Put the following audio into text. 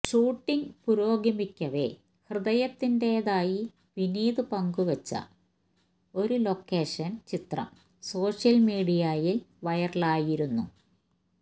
shooting പുരോഗമിക്കവേ ഹൃദയത്തിന്റെതായി വിനീത് പങ്കുവെച്ച ഒരു ലൊക്കേഷന് ചിത്രം സോഷ്യല് മീഡിയയില് വൈറലായിരുന്നു